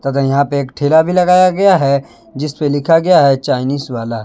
तथा यहां पे एक ठेला भी लगाया गया है जीस पे लिखा गया है चाइनीस वाला।